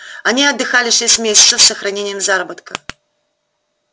они отдыхали шесть месяцев с сохранением заработка